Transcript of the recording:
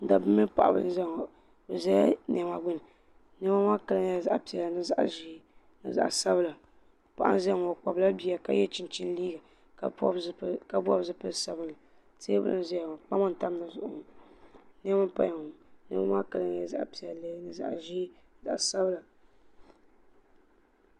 Dabba mini paɣaba n zaya ŋo bɛ zala niɛma gbini niɛma maa kala nyɛla zaɣa piɛlli ni zaɣa ʒee ni zaɣa sabla paɣa n zaya ŋo o kpabila bia ka ye chinchini liiga ka bobi zipili sabinli teebuli n zaya ŋo kpama n tam di zuɣu niɛma n paya ŋo niɛma maa kala nyɛla zaɣa piɛlli ni zaɣa ʒee ni zaɣa sabla.